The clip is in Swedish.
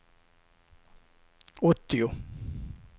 åttio